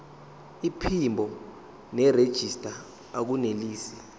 iphimbo nerejista akunelisi